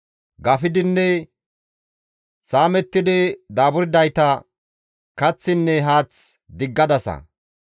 Gafidinne saamettidi daaburdayta kaththinne haath diggadasa.